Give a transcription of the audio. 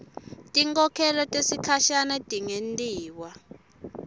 tinkhokhelo tesikhashane tingentiwa